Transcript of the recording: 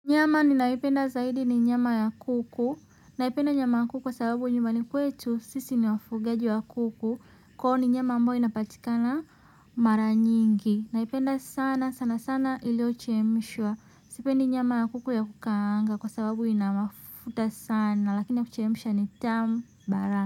Nyama ninayo ipenda zaidi ni nyama ya kuku, naipenda nyama ya kuku kwa sababu nyumbani kwetu sisi ni wafugaji wa kuku, kwao ni nyama ambayo inapatikana mara nyingi, naipenda sana sana sana ilio chemshwa, sipendi nyama ya kuku ya kukaanga kwa sababu ina mafuta sana lakini ya kuchemshwa ni tamu balaa.